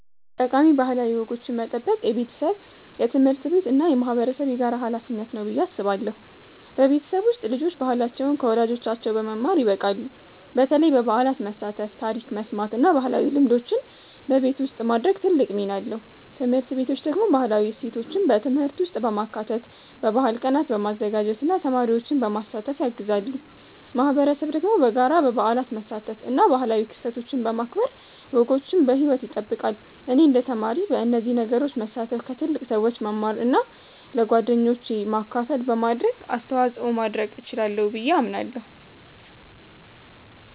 ጠቃሚ ባህላዊ ወጎችን መጠበቅ የቤተሰብ፣ የትምህርት ቤት እና የማህበረሰብ የጋራ ሀላፊነት ነው ብዬ አስባለሁ። በቤተሰብ ውስጥ ልጆች ባህላቸውን ከወላጆቻቸው በመማር ይበቃሉ፣ በተለይ በበዓላት መሳተፍ፣ ታሪክ መስማት እና ባህላዊ ልምዶችን በቤት ውስጥ ማድረግ ትልቅ ሚና አለው። ትምህርት ቤቶች ደግሞ ባህላዊ እሴቶችን በትምህርት ውስጥ በማካተት፣ በባህል ቀናት በማዘጋጀት እና ተማሪዎችን በማሳተፍ ያግዛሉ። ማህበረሰብ ደግሞ በጋራ በበዓላት መሳተፍ እና ባህላዊ ክስተቶችን በማክበር ወጎችን በሕይወት ይጠብቃል። እኔ እንደ ተማሪ በእነዚህ ነገሮች መሳተፍ፣ ከትልቅ ሰዎች መማር እና ለጓደኞቼ ማካፈል በማድረግ አስተዋጽኦ ማድረግ እችላለሁ ብዬ አምናለሁ።